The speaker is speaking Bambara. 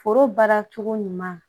Foro baara cogo ɲuman